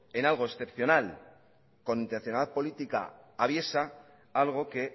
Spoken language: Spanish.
en algo excepcional con intencionalidad política aviesa algo que